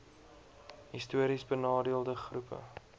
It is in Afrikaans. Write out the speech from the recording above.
histories benadeelde groepe